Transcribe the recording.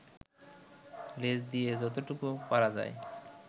লেজ দিয়ে যতটুকু পারা যায়